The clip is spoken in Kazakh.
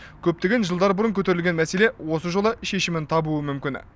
көптеген жылдар бұрын көтерілген мәселе осы жолы шешімін табуы мүмкін